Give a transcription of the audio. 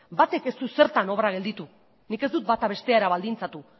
batek ez dut zertan obra gelditu nik ez dut bata bestera baldintzatu